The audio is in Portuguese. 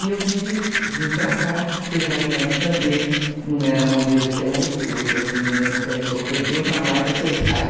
E eu vim para cá, cesariana também, não era a moleza que é hoje, porque hoje as meninas não querem sofrer dor, já marca cesárea.